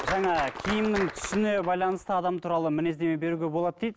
жаңа киімнің түсіне байланысты адам туралы мінездеме беруге болады дейді